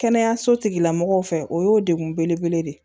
Kɛnɛyaso tigila mɔgɔw fɛ o y'o degun belebele de ye